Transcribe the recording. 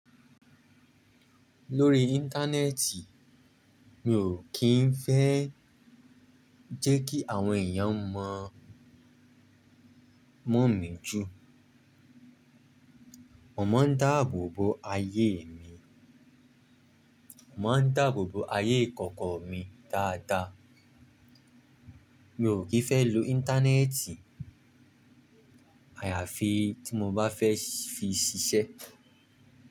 Lórí Íńtánẹ́ẹ̀tì, mi ò kí ń fẹ́ jẹ́ kí àwọn èèyàn mọ̀ mọ́ mi jù. Mo máa ń dáàbò bo ayé mi, mo máa ń dáàbò bo ayé ìkọ̀kọ̀ mi dáadáa. Mi ò kí ń fẹ́ lo Íńtánẹ́ẹ̀tì àyàfi tí mo bá fẹ́ fi ṣiṣẹ́.